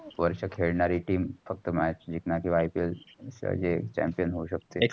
वर्ष खेळणारी team फक्त match जिकणर किंवा IPL हे chamipon होवू शकते.